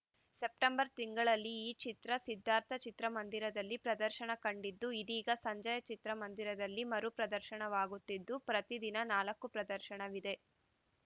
September ತಿಂಗಳಲ್ಲಿ ಈ ಚಿತ್ರ ಸಿದ್ದಾರ್ಥ ಚಿತ್ರ ಮಂದಿರದಲ್ಲಿ ಪ್ರದರ್ಶನ ಕಂಡಿತ್ತು ಇದೀಗ ಸಂಜಯ ಚಿತ್ರಮಂದಿರದಲ್ಲಿ ಮರು ಪ್ರದರ್ಶನವಾಗುತ್ತಿದ್ದು ಪ್ರತಿ ದಿನ ನಾಲ್ಕು ಪ್ರದರ್ಶನವಿದೆ